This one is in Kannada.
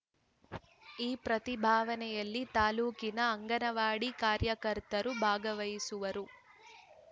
ಈ ಪ್ರತಿಭವನೆಯಲ್ಲಿ ತಾಲೂಕಿನ ಅಂಗನವಾಡಿ ಕಾರ್ಯಕರ್ತೆಯರು ಭಾಗವಹಿಸುವರು